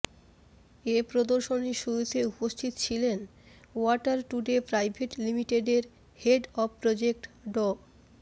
এ প্রদর্শনীর শুরুতে উপস্থিত ছিলেন ওয়াটার টুডে প্রাইভেট লিমিটেডের হেড অব প্রজেক্ট ড